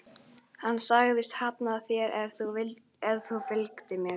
Hann sagðist hafna þér ef þú fylgdir mér.